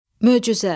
Möcüzə.